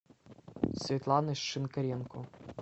светланы шинкаренко